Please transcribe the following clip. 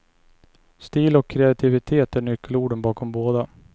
Stil och kreativitet är nyckelorden bakom båda.